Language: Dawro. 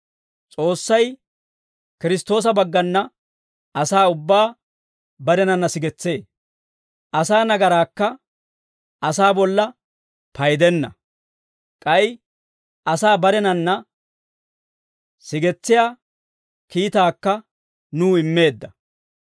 S'oossay Kiristtoosa baggana asaa ubbaa barenanna sigetsee; asaa nagaraakka asaa bolla paydenna; k'ay asaa barenanna sigetsiyaa kiitaakka nuw immeedda.